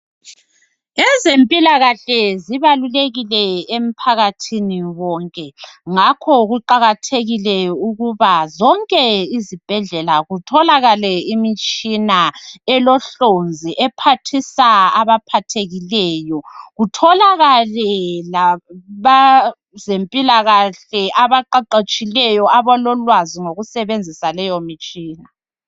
Ezempilakahle zibalulekile emphakathini wonke ngakho kuqakathekile ukuba zonke izibhedlela kutholakale imitshina elohlonzi ephathisa abaphathekileyo kutholakale labezempilakahle abaqeqetshileyo abalolwazi ngokusebenzisa leto mitshina.